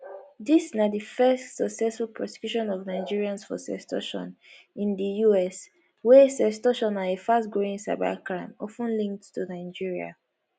dis na di first successful prosecution of nigerians for sextortion in di us wia sextortion na a fast growing cybercrime of ten linked to nigeria